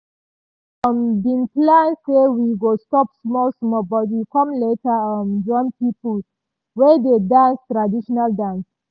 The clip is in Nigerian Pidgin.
we um bin plan say we go stop small small but we com later um join pipo wey dey dance traditional dance.